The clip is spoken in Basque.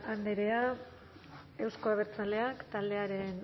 andrea euzko abertzaleak taldearen